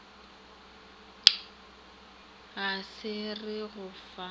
ga re re go fa